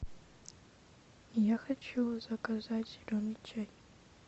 я хочу заказать зеленый чай